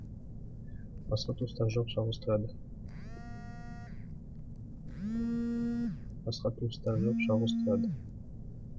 басқа туыстары жоқ жалғыз тұрады